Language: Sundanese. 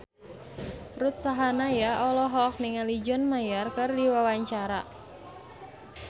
Ruth Sahanaya olohok ningali John Mayer keur diwawancara